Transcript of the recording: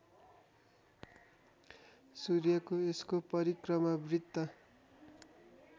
सूर्यको यसको परिक्रमावृत्त